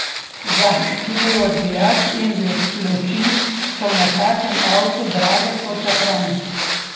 Zadnji odbijač in luči so na takem avtu drage ko žafran ...